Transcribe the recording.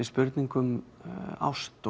spurningin um ást